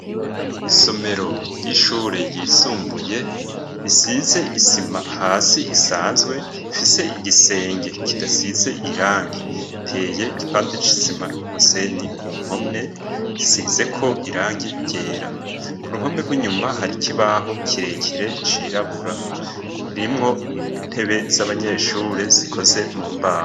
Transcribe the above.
Isomero ry'ishure ryisumbuye risize isima hasi isanzwe ifise igisenge kidasize irangi iteye igipande c'isima n'umusenyi ku mpome isizeko irangi ryera ku ruhome rw'inyuma hari ikibaho kirekere cirabura irimwo intebe z'abanyeshure zikoze mu mbaho.